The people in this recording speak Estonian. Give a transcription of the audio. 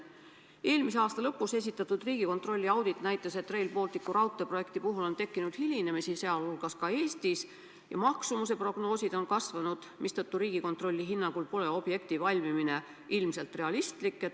Eelmise aasta lõpus esitatud Riigikontrolli audit näitas, et Rail Balticu raudteeprojekti puhul on tekkinud hilinemisi, sh ka Eestis, ja maksumuse prognoosid on kasvanud, mistõttu Riigikontrolli hinnangul pole objekti valmimine ilmselt realistlik.